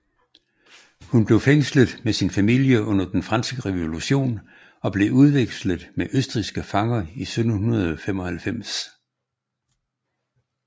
Hun blev fængslet med sin familie under Den Franske Revolution og blev udvekslet med østrigske fanger i 1795